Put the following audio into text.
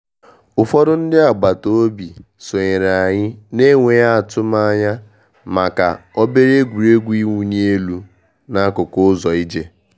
Ụfọdụ ndị agbata obi sonyere anyị n’enweghị atụmanya maka obere egwuregwu ịwụ ni elu n'akụkụ ụzọ ije.